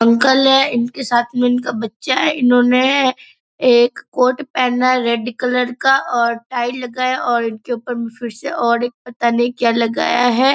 Uncle हैं इनके साथ में इनका बच्चा है इन्होने एक कोट पहना है रेड कलर का और टाई लगाया और इनके ऊपर में फिर से और एक पता नहीं क्या लगाया है।